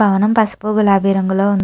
పావనం పసుపు గులాబీ రంగు లో వుంది.